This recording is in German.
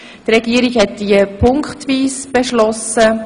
Die Regierung hat sie punktweise beschlossen: